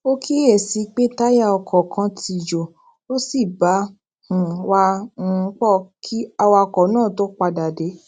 ó kíyè sí pé táyà ọkò kan ti jo ó sì bá um wa um poo kí awakò náà tó padà dé